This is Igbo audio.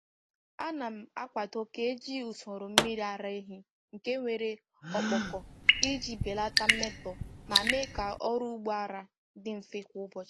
A na m akwado ka eji usoro mmiri ara ehi nke nwere ọkpọkọ iji belata mmetọ ma mee ka ọrụ ugbo ara dị mfe kwa ụbọchị.